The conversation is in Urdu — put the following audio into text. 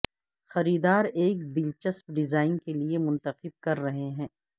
خریدار ایک دلچسپ ڈیزائن کے لئے منتخب کر رہے ہیں